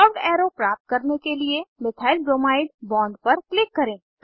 curved arrow प्राप्त करने के लिए मिथाइलब्रोमाइड बॉन्ड पर क्लिक करें